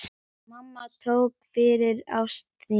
Mamma, takk fyrir ást þína.